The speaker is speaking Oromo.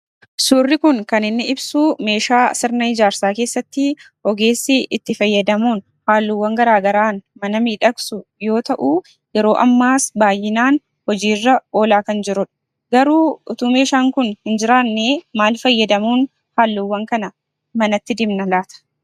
Suurri kun kan inni ibsuu meeshaa sirna ijaarsaa keessattii ogeessi itti fayyadamuun haalluwwan garaagaraan mana miidhagsu yoo ta'uu yeroo ammaas baay'inaan hojiirra oolaa kan jirudha, Garuu otoo meeshaan kun hin jiraannee maal fayyadamuun halluuwwan kana manatti dibna laata?